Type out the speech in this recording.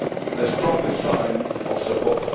the strongest sign of support.